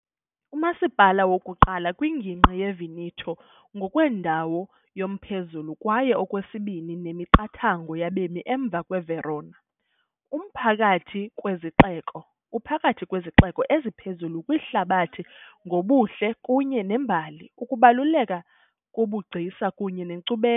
Umasipala wokuqala kwingingqi yeVeneto ngokwendawo yomphezulu kwaye okwesibini ngokwemiqathango yabemi emva kweVerona , umphakathi kwezixeko uphakathi kwezixeko eziphezulu kwihlabathi ngobuhle kunye nembali, ukubaluleka kobugcisa kunye nenkcubeko.